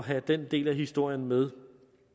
have den del af historien med